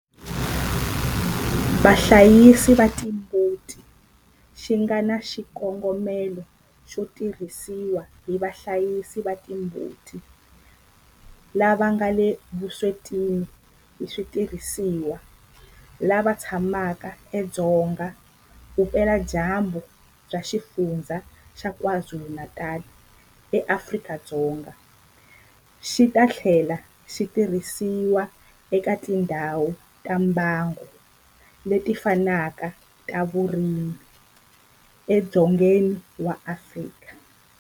Vahlayisi va timbuti xi nga na xikongomelo xo tirhisiwa hi vahlayisi va timbuti lava nga le vuswetini hi switirhisiwa lava tshamaka edzonga vupeladyambu bya Xifundzha xa KwaZulu-Natal eAfrika-Dzonga, xi ta tlhela xi tirhisiwa eka tindhawu ta mbango leti fanaka ta vurimi edzongeni wa Afrika.